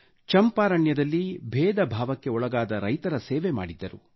ಚಂಪಾರಣ್ಯದಲ್ಲಿ ಭೇದ ಭಾವಕ್ಕೆ ಒಳಗಾದ ರೈತರ ಸೇವೆ ಮಾಡಿದ್ದರು